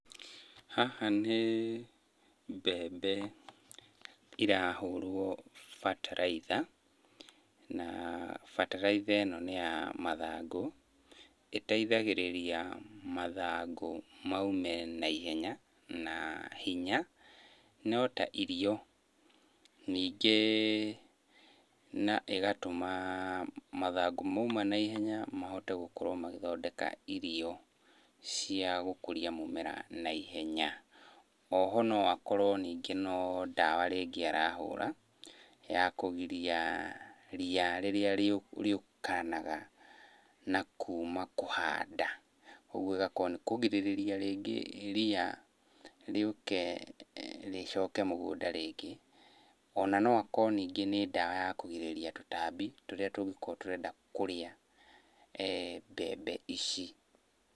Haha nĩ mbembe irahũrwo bataraitha na bataraitha ĩno nĩ ya mathangũ, ĩteithagĩrĩria mathangũ maume naihenya na hinya. No ta irio. Ningĩ na ĩgatũma mathangũ mauma naihenya mahote gũkorwo magĩthondeka irio cia gũkũria mũmera naihenya. Oho ningĩ no akorwo ningĩ nĩ ndawa arahũra ya kũgiria ria rĩrĩa rĩũkanaga na kuma kũhanda. Ũguo ĩgakorwo nĩ kũgirĩrĩria rĩngĩ ria rĩũke rĩcoke mũgũnda rĩngĩ. Ona no akorwo ningĩ nĩ ndawa ya kũgirĩrĩria tũtambi tũrĩa tũngĩkorwo tũrenda kũrĩa mbembe ici.